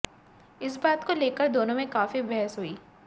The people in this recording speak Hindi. इस बात को लेकर दोनों में काफी बहस हुई